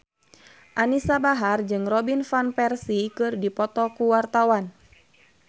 Anisa Bahar jeung Robin Van Persie keur dipoto ku wartawan